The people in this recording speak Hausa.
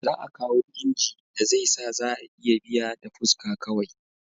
Za a kawo inji da zai sa za a iya biya da fuska kawai